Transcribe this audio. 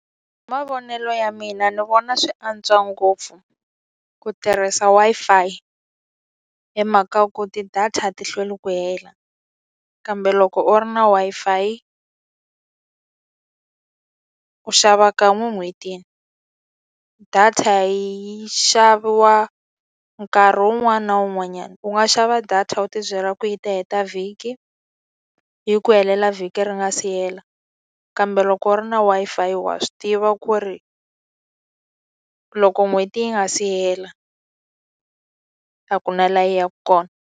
Hi mavonelo ya mina ni vona swi antswa ngopfu ku tirhisa Wi-Fi, hi mhaka ku ti-data a ti hlweli ku hela. Kambe loko u ri na Wi-Fi u xava kan'we en'hwetini. Data yi xaviwa nkarhi wun'wana na wun'wanyana, u nga xava data u ti byela ku yi ta heta vhiki, yi ku helela vhiki ri nga si hela. Kambe loko u ri na Wi-Fi wa swi tiva ku ri loko n'hweti yi nga si hela, a ku na laha yi yaka kona.